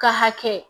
Ka hakɛ